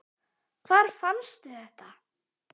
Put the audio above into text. Hvar fannstu þetta?